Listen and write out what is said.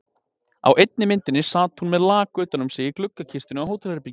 Á einni myndinni sat hún með lak utan um sig í gluggakistunni á hótelherberginu.